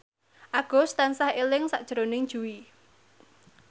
Agus tansah eling sakjroning Jui